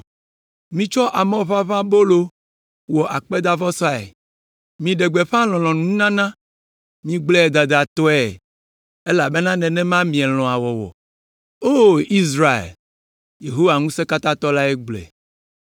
Mitsɔ amɔʋaʋãbolo wɔ akpedavɔsae. Miɖe gbeƒã lɔlɔ̃nununana. Migblɔe dadatɔe, elabena nenema mielɔ̃a wɔwɔ. O, Israel!” Yehowa Ŋusẽkatãtɔ lae gblɔe.